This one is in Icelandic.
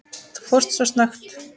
Þú fórst svo snöggt.